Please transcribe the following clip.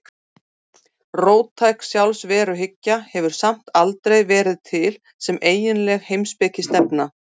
Róttæk sjálfsveruhyggja hefur samt aldrei verið til sem eiginleg heimspekistefna.